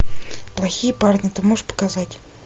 плохие парни ты можешь показать